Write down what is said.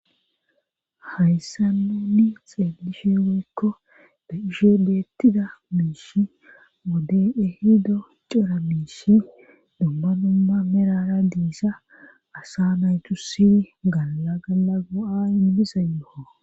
hayssan nunni xeelishe woykko da ishe deettida miishi moden ehido cira miishi dumma numma merara diisa asa naytu sini galla gala go7a inmisa yoo